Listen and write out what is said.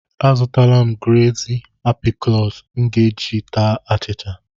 Azụọla m gleezi aprịkọọt m ji ata achịcha.